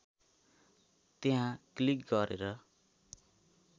त्यहाँ क्लिक गरेर